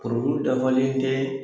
Koro kuru dafalen tɛɛ